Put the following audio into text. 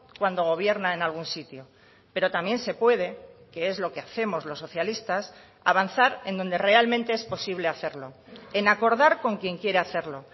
cuando gobierna en algún sitio pero también se puede que es lo que hacemos los socialistas avanzar en donde realmente es posible hacerlo en acordar con quien quiere hacerlo